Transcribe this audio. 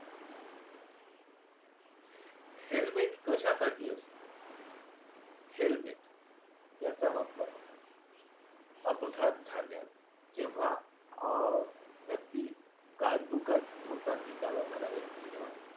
helmet कशासाठी असते? helmet याचा वापर अपघात झाल्यास जेव्हा अ व्यक्ती गाड दुचाकी चालवणारा व्यक्ती जेव्हा